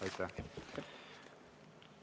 Aitäh!